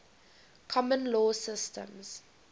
common law systems